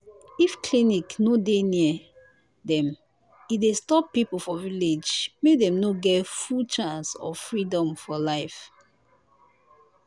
if clinic no dey near dem e dey stop people for village make dem no get full chance or freedom fo real